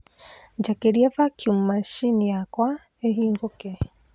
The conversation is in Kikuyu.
njakĩria vaccum macini yakwa ĩhingũke